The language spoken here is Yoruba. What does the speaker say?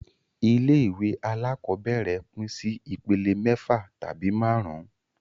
Ilé ìwé alákọ́bẹ̀rẹ̀ pín sí ìpele mẹ́fà tabi máàrún